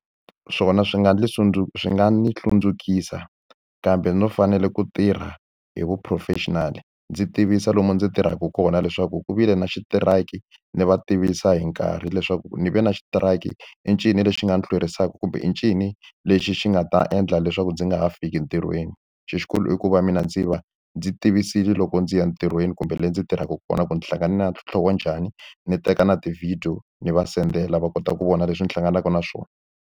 Swona swi nga ni swi nga ndzi hlundzukisaka, kambe no fanele ku tirha hi vu professional. Ndzi tivisa lomu ndzi tirhaka kona leswaku ku vile na xitiraki, ndzi va tivisa hi nkarhi leswaku ni ve na xitiraki, i ncini lexi nga ni hlwerisaka kumbe i ncini lexi xi nga ta endla leswaku ndzi nga ha fiki entirhweni. Xilo xikulu i ku va mina ndzi va ndzi tivisile loko ndzi ya entirhweni kumbe le ndzi tirhaka kona ku ndzi hlangana na ntlhontlho wa njhani, ni teka na ti-video ni va sendela va kota ku vona leswi ndzi hlanganaka na swona.